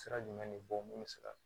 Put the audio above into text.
Sira jumɛn de bɔ minnu bɛ se ka